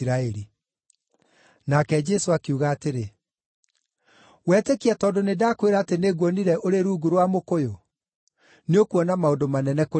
Nake Jesũ akiuga atĩrĩ, “Wetĩkia tondũ nĩndakwĩra atĩ nĩnguonire ũrĩ rungu rwa mũkũyũ. Nĩũkuona maũndũ manene kũrĩ macio.”